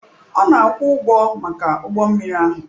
Ọ na-akwụ ụgwọ maka ụgbọ mmiri ahụ.